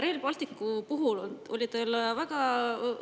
Rail Balticu puhul oli teil väga